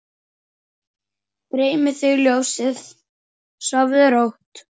Dreymi þig ljósið, sofðu rótt!